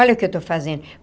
Olha o que eu estou fazendo.